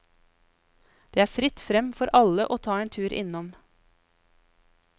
Det er fritt frem for alle å ta en tur innom.